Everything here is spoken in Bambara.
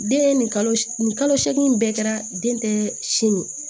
Den nin kalo nin kalo seegin in bɛɛ kɛra den tɛ simi